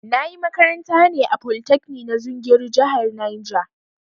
Na ƴi makaranta ne a polytekni na zungeru jihar Niger